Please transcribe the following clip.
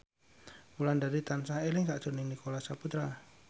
Wulandari tansah eling sakjroning Nicholas Saputra